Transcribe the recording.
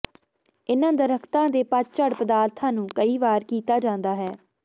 ਇਨ੍ਹਾਂ ਦਰਖਤਾਂ ਦੇ ਪਤਝੜ ਪਦਾਰਥਾਂ ਨੂੰ ਕਈ ਵਾਰ ਕੀਤਾ ਜਾਂਦਾ ਹੈ